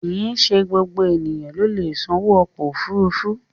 Kìí ṣe gbogbo ènìyàn ló lè sanwó ọkọ̀ òfuurufú